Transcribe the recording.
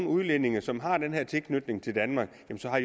udlændinge som har tilknytning til danmark